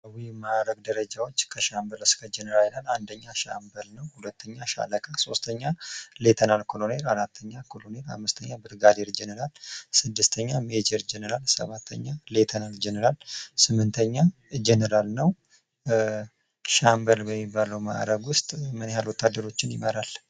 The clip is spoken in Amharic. ማእርግ ደረጃዎች አንደኛ ሻምበል ነው ሁለተኛ ሻለቃ፣ ሶስተኛ ሌተና ኮሎኔል፣ አራተኛ ኮሎኔል፣ አምስተኛ ብርጋዲል ጀነራል፣ ስድስተኛ ሜጀር ጀነራል፣ ሰባተኛ ሌተናል ጀነራል ፣ ስምንተኛ ጀነራል ነው። ሻምበል በሚባሉ ማዕረጉ ውስጥ ምን ያህል ወታደሮችን ይመራል?